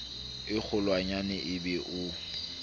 e kgolwanyane e be o